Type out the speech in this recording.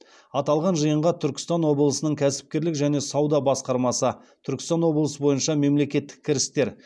аталған жиынға түркістан облысының кәсіпкерлік және сауда басқармасы түркістан облысы бойынша мемлекеттік кірістер